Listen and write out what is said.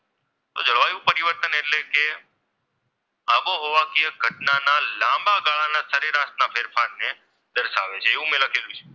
તો જળવાયુ પરિવર્તન એટલે કે, આબોહવાકીય ઘટનાના લાંબા ગાળાના સરેરાશના ફેરફાર ને દર્શાવી છે એવું મેં લખેલું છે.